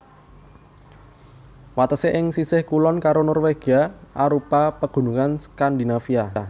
Watesé ing sisih kulon karo Norwegia arupa Pegunungan Skandinavia